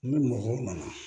Ni mɔgɔw nana